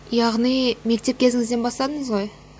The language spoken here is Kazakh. яғни мектеп кезіңізден бастадыңыз ғой